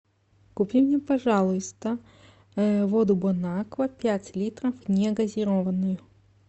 купи мне пожалуйста воду бонаква пять литров негазированную